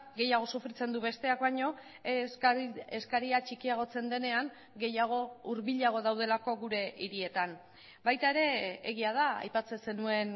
gehiago sufritzen du besteak baino eskaria txikiagotzen denean gehiago hurbilago daudelako gure hirietan baita ere egia da aipatzen zenuen